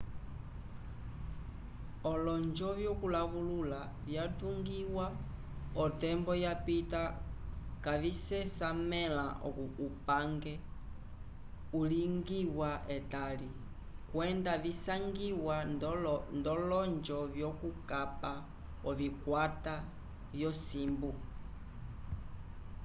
olonjo vyokulawulula vyatungiwa otembo yapita kavisesamẽla upange ulingiwa etali kwenda visangiwa nd'olonjo vyokukapa ovikwata vyosimbu